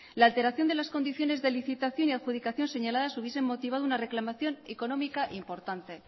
la alteración de las condiciones de licitación y adjudicación señaladas hubiesen motivado una reclamación económica importante